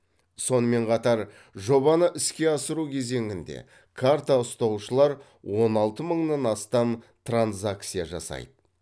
сонымен қатар жобаны іске асыру кезеңінде карта ұстаушылар он алты мыңнан астам транзакция жасайды